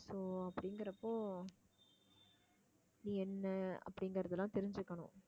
so அப்படிங்கிறப்போ நீ என்ன அப்படிங்கிறது எல்லாம் தெரிஞ்சுக்கணும்